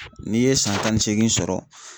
N'i ye san tan ni seegin sɔrɔ